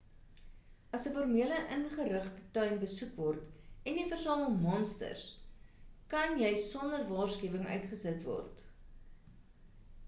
as 'n formele ingerigte tuin besoek word en jy versamel monsters kan jy sonder waarskuwing uitgesit word